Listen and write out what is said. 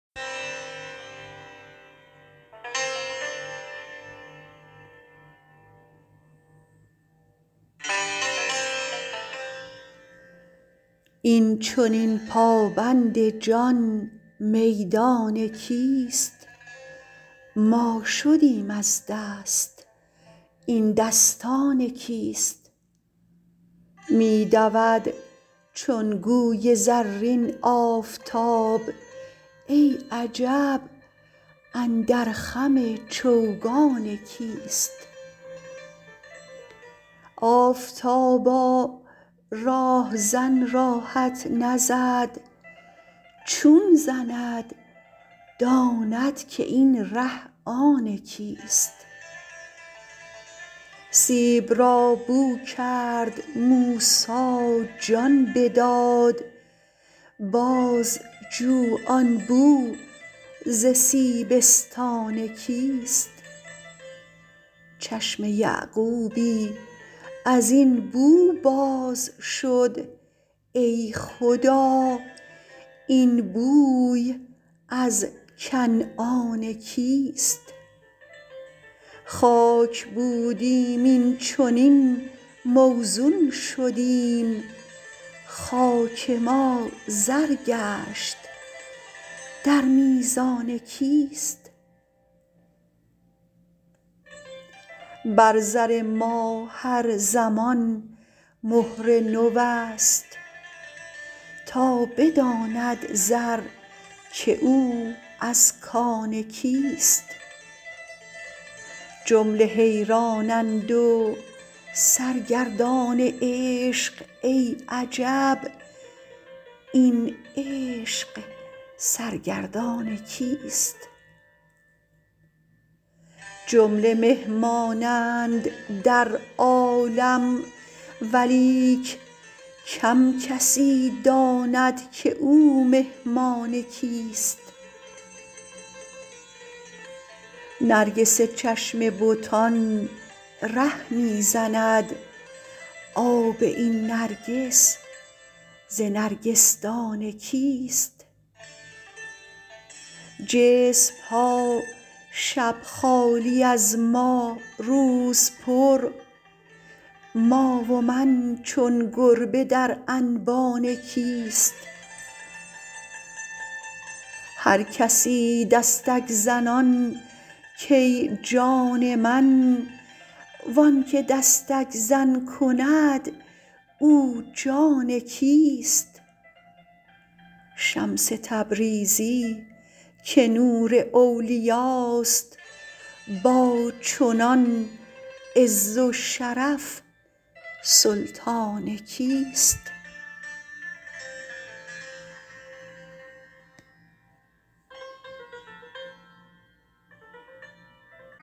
این چنین پابند جان میدان کیست ما شدیم از دست این دستان کیست می دود چون گوی زرین آفتاب ای عجب اندر خم چوگان کیست آفتابا راه زن راهت نزد چون زند داند که این ره آن کیست سیب را بو کرد موسی جان بداد بازجو آن بو ز سیبستان کیست چشم یعقوبی از این بو باز شد ای خدا این بوی از کنعان کیست خاک بودیم این چنین موزون شدیم خاک ما زر گشت در میزان کیست بر زر ما هر زمان مهر نوست تا بداند زر که او از کان کیست جمله حیرانند و سرگردان عشق ای عجب این عشق سرگردان کیست جمله مهمانند در عالم ولیک کم کسی داند که او مهمان کیست نرگس چشم بتان ره می زند آب این نرگس ز نرگسدان کیست جسم ها شب خالی از ما روز پر ما و من چون گربه در انبان کیست هر کسی دستک زنان کای جان من و آنک دستک زن کند او جان کیست شمس تبریزی که نور اولیاست با چنان عز و شرف سلطان کیست